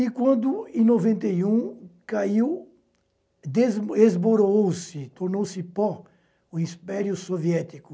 E quando, em noventa e um, caiu, desmoronou-se, tornou-se pó o Império Soviético,